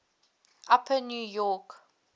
upper new york